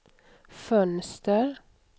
fönster